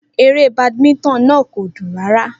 Eré badminton náà kò dùn rárá.